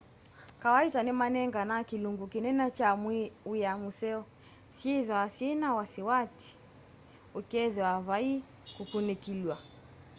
kawaita nimanenganaa kilungi kinene na wia museo syithwaa syina vasiwati ukethia vai kukunikilwa